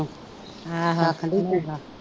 ਆਹੋ ਆਖਣ ਦੀ ਹੀ ਚੰਗਾ।